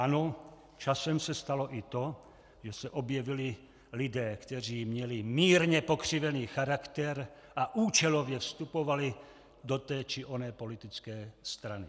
Ano, časem se stalo i to, že se objevili lidé, kteří měli mírně pokřivený charakter a účelově vstupovali do té či oné politické strany.